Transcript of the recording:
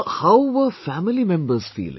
How were family members feeling